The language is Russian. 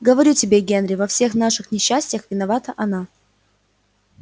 говорю тебе генри во всех наших несчастьях виновата она